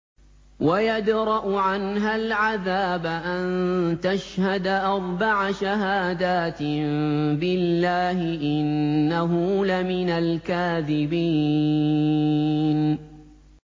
وَيَدْرَأُ عَنْهَا الْعَذَابَ أَن تَشْهَدَ أَرْبَعَ شَهَادَاتٍ بِاللَّهِ ۙ إِنَّهُ لَمِنَ الْكَاذِبِينَ